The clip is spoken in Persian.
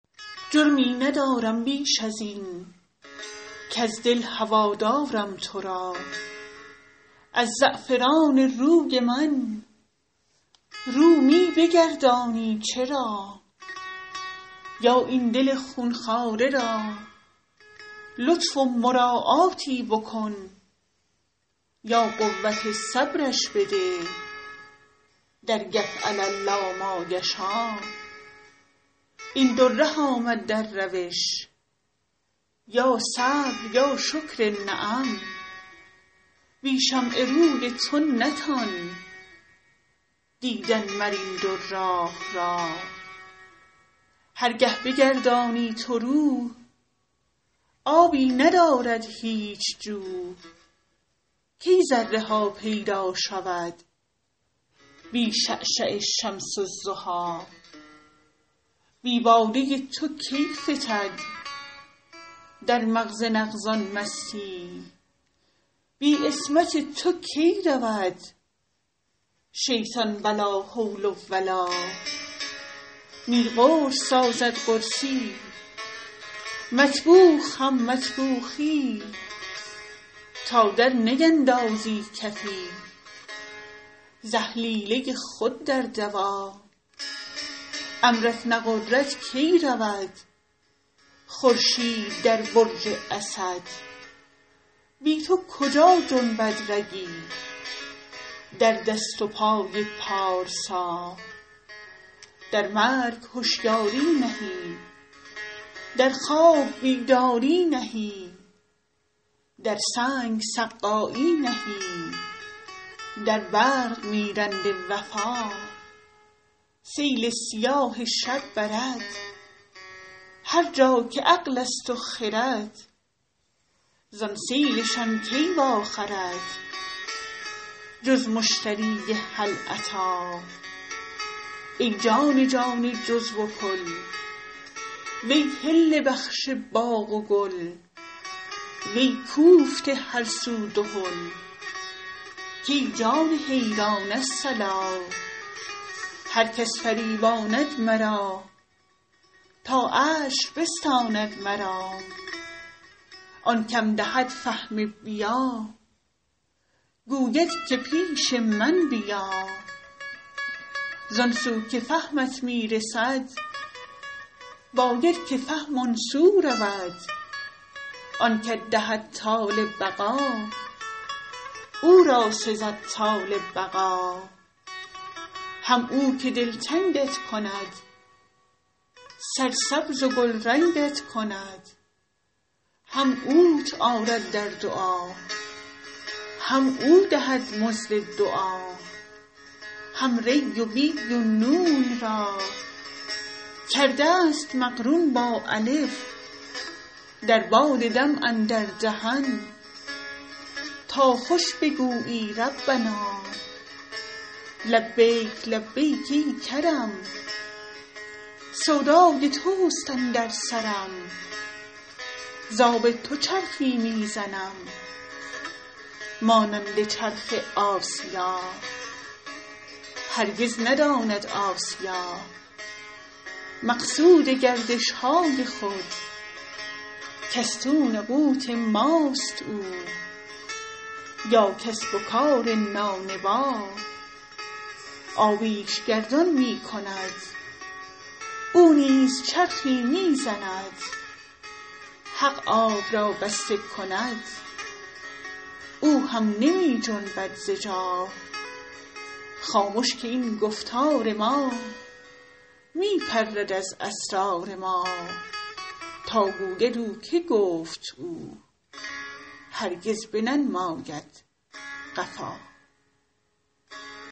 جرمی ندارم بیش از این کز دل هوا دارم تو را از زعفران روی من رو می بگردانی چرا یا این دل خون خواره را لطف و مراعاتی بکن یا قوت صبرش بده در یفعل الله ما یشا این دو ره آمد در روش یا صبر یا شکر نعم بی شمع روی تو نتان دیدن مر این دو راه را هر گه بگردانی تو رو آبی ندارد هیچ جو کی ذره ها پیدا شود بی شعشعه شمس الضحی بی باده تو کی فتد در مغز نغز ان مستی یی بی عصمت تو کی رود شیطان به لا حول و لا نی قرص سازد قرصی یی مطبوخ هم مطبوخی یی تا درنیندازی کفی ز اهلیله خود در دوا امرت نغرد کی رود خورشید در برج اسد بی تو کجا جنبد رگی در دست و پای پارسا در مرگ هشیاری نهی در خواب بیداری نهی در سنگ سقایی نهی در برق میرنده وفا سیل سیاه شب برد هر جا که عقل است و خرد زان سیل شان کی واخرد جز مشتری هل اتی ای جان جان جزو و کل وی حله بخش باغ و گل وی کوفته هر سو دهل کای جان حیران الصلا هر کس فریباند مرا تا عشر بستاند مرا آن که م دهد فهم بیا گوید که پیش من بیا زان سو که فهمت می رسد باید که فهم آن سو رود آن که ت دهد طال بقا او را سزد طال بقا هم او که دلتنگ ت کند سرسبز و گلرنگ ت کند هم اوت آرد در دعا هم او دهد مزد دعا هم ری و بی و نون را کرده ست مقرون با الف در باد دم اندر دهن تا خوش بگویی ربنا لبیک لبیک ای کرم سودای توست اندر سرم ز آب تو چرخی می زنم مانند چرخ آسیا هرگز نداند آسیا مقصود گردش های خود که استون قوت ماست او یا کسب و کار نانبا آبی ش گردان می کند او نیز چرخی می زند حق آب را بسته کند او هم نمی جنبد ز جا خامش که این گفتار ما می پرد از اسرار ما تا گوید او که گفت او هرگز بننماید قفا